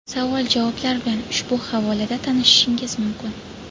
Savol-javoblar bilan ushbu havola da tanishishingiz mumkin.